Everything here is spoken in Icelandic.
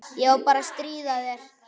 Ég er bara að stríða þér.